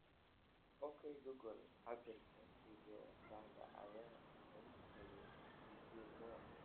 ok google cabbirka sideedaad ayaa isaga tagay d. j. mo